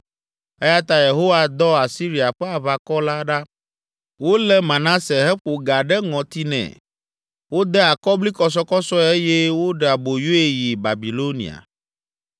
eya ta Yehowa dɔ Asiria ƒe aʋakɔ la ɖa, wolé Manase heƒo ga ɖe ŋɔti nɛ. Wode akɔblikɔsɔkɔsɔe eye woɖe aboyoe yi Babilonia.